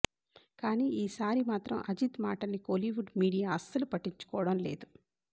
కానీ ఈసారి మాత్రం అజిత్ మాటల్ని కోలీవుడ్ మీడియా అస్సలు పట్టించుకోవడం లేదు